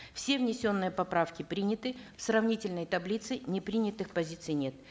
все внесенные поправки приняты в сравнительной таблице непринятых позиций нет